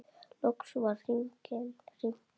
Loks var hringt inn.